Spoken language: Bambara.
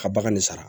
Ka bagan ne sara